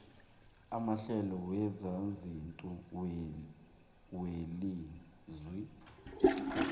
amahlelo wezezindlu welizwe